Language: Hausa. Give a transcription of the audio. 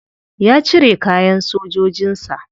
Ya cire kayan sojojin sa.